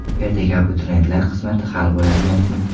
Ertaga abituriyentlar qismati hal bo‘ladigan kun.